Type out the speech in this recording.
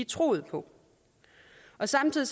troet på samtidig